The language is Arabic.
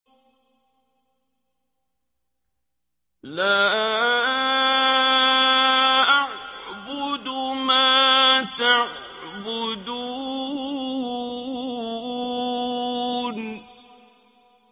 لَا أَعْبُدُ مَا تَعْبُدُونَ